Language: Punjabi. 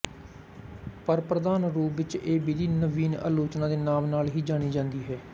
ਪਰ ਪ੍ਰਧਾਨ ਰੂਪ ਵਿੱਚ ਇਹ ਵਿਧੀ ਨਵੀਨ ਆਲੋਚਨਾ ਦੇ ਨਾਮ ਨਾਲ ਹੀ ਜਾਣੀ ਜਾਂਦੀ ਹੈ